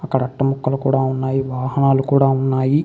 అక్కడ అట్ట ముక్కలు కూడా ఉన్నాయి వాహనాలు కూడా ఉన్నాయి.